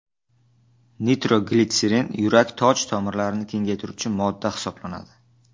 Nitroglitserin yurak toj tomirlarini kengaytiruvchi modda hisoblanadi.